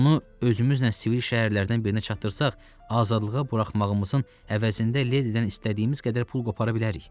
Onu özümüzlə sivil şəhərlərdən birinə çatdırsaq, azadlığa buraxmağımızın əvəzində Ledidən istədiyimiz qədər pul qopara bilərik.